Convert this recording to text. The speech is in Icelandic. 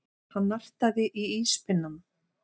Hann nartaði í íspinnann.